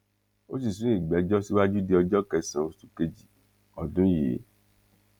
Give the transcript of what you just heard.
ó sì sún ìgbẹjọ síwájú di ọjọ kẹsànán oṣù kejì ọdún yìí